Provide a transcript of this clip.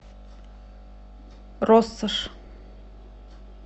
россошь